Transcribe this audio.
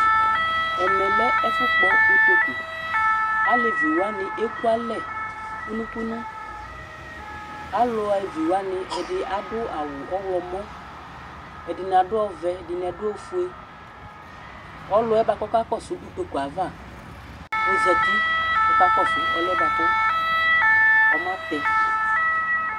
Ɛmɛlɛ ɛfu kpɔ ʋtoku Alevi wani ɛkʋalɛ kʋnu kʋnu Aluevi wani, Ɛɖì aɖu awu ɔwlɔmɔ Ɛdiní aɖu ɔvɛ, ɛɖìní aɖu ɔfʋe Ɔlu yɛ kʋ ɔkakɔsu ʋtoku yɛ ava ɔzɛti kʋ ɔkakɔsu ɔli yɛ ɔmatɛ